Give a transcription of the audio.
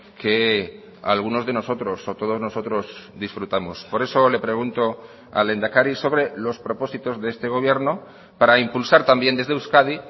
que algunos de nosotros o todos nosotros disfrutamos por eso le preguntó al lehendakari sobre los propósitos de este gobierno para impulsar también desde euskadi